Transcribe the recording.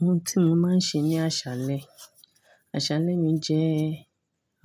Ohun tí mo máa ń ṣe ní àṣálẹ́, àṣálẹ́ mi jẹ́